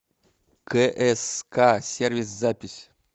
кск сервис запись